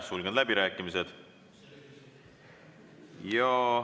Sulgen läbirääkimised.